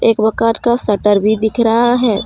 एक मकान का शटर भी दिख रहा है।